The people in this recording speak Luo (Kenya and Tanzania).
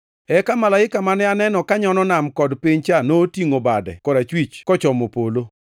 Eka malaika mane aneno konyono nam kod piny cha notingʼo bade korachwich kochomo polo.